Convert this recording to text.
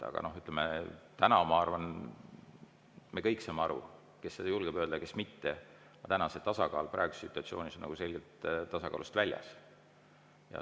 Aga ütleme, täna, ma arvan, me kõik saame aru – kes seda julgeb öelda, kes mitte –, see on praeguses situatsioonis selgelt tasakaalust väljas.